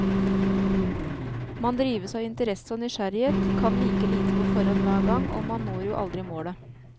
Man drives av interesse og nysgjerrighet, kan like lite på forhånd hver gang, og man når jo aldri målet.